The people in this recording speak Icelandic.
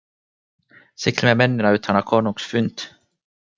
Siglið með mennina utan á konungs fund.